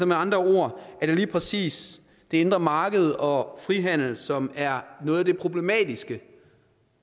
med andre ord lige præcis det indre marked og frihandel som er noget af det problematiske